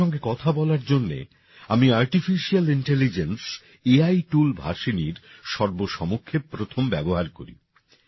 ওঁদের সঙ্গে কথা বলার জন্যে আমি artificial intelligence A I tool ভাষিণীর সর্বসমক্ষে প্রথম ব্যবহার করি